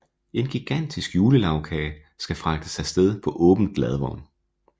En gigantisk julelagkage skal fragtes afsted på åben ladvogn